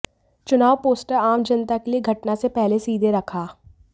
चुनाव पोस्टर आम जनता के लिए घटना से पहले सीधे रखा